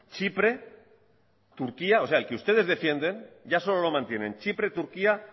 chipre turquía o sea el que ustedes defienden ya solo lo mantienen chipre turquía